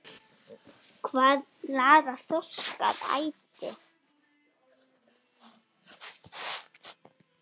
Hvað laðar þorsk að æti?